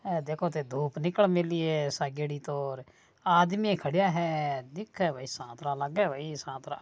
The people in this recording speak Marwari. देखो धुप निकल मेळी है सागेड़ी तो आदमी खड़ा है दिखे भई साथरा लागे साथरा --